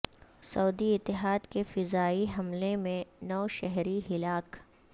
سعودی اتحاد کے فضائی حملے میں نو شہری ہلاک